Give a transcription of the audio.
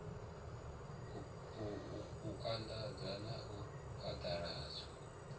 u anḓadza na u phaḓaladzwa